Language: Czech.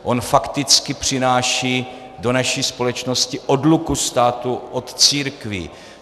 On fakticky přináší do naší společnosti odluku státu od církví.